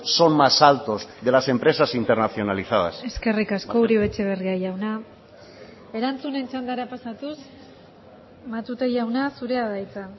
son más altos de las empresas internacionalizadas eskerrik asko uribe etxebarria jauna erantzunen txandara pasatuz matute jauna zurea da hitza